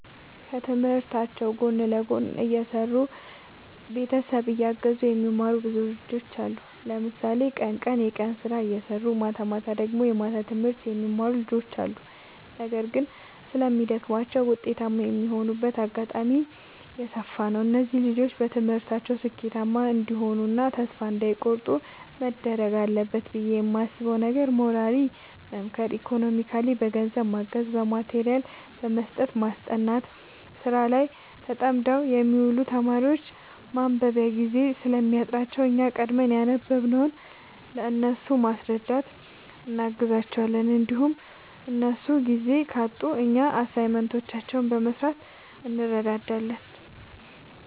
ከትምህርታቸው ጎን ለጎን እየሰሩ ቤተሰብ እያገዙ የሚማሩ ብዙ ልጆች አሉ። ለምሳሌ ቀን ቀን የቀን ስራ እየሰሩ ማታማታ ደግሞ የማታ ትምህርት የሚማሩ ልጆች አሉ። ነገር ግን ስለሚደግማቸው ውጤታማ የማይሆኑበት አጋጣሚ የሰፋ ነው። እነዚህ ልጆች በትምህርታቸው ስኬታማ እንዲሆኑ እና ተስፋ እንዳይ ቆርጡ መደረግ አለበት ብዬ የማስበው ነገር ሞራሊ መምከር ኢኮኖሚካሊ በገንዘብ ማገዝ በማቴሪያል መስጠትና ማስጠናት። ስራ ላይ ተጠምደው የሚውሉ ተማሪዎች ማንበቢያ ጊዜ ስለሚያጥራቸው እኛ ቀድመን ያነበብንውን ለእነሱ በማስረዳት እናግዛቸዋለን እንዲሁም እነሱ ጊዜ ካጡ እኛ አሳይመንቶችን በመስራት እንረዳዳለን